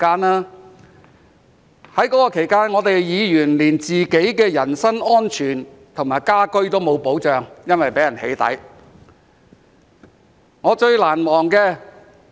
在那段期間，議員連自己的人身安全和家居也沒有保障，因為會被人"起底"。